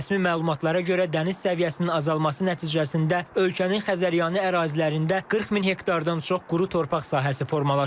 Rəsmi məlumatlara görə dəniz səviyyəsinin azalması nəticəsində ölkənin Xəzəryanı ərazilərində 40 min hektardan çox quru torpaq sahəsi formalaşıb.